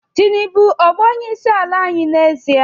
Tinubu ọ bụ onyeisiala anyị n'ezie?